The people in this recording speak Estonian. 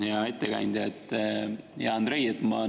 Hea ettekandja, hea Andrei!